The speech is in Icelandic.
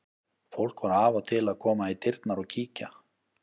Fólk var af og til að koma í dyrnar og kíkja.